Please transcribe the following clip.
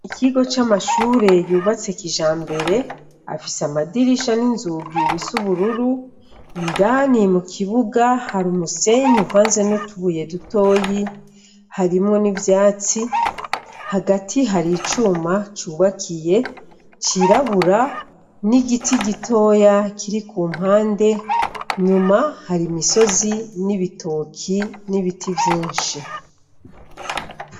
Ikigo c'amashure yubatse kijambere afise amadirisha n'inzugi bisa ubururu indani mukibuga hari umusenyi uvanze nutubuye dutoyi harimwo n'ivyatsi hagati hari icuma cubakiye cirabura n'igiti gitoya kiri kumpande inyuma hari imisozi n'ibitoki n'ibiti vyinshi.